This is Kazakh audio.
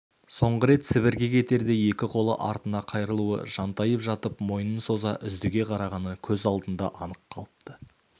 соңғы рет сібірге кетерде екі қолы артына қайырылулы жантайып жатып мойнын соза үздіге қарағаны көз алдында анық қалыпты